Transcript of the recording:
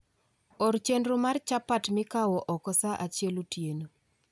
Or chenro mar chapat mikawo oko saa achiel otieno